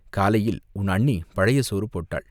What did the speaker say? காலையில் உன் அண்ணி பழைய சோறு போட்டாள்.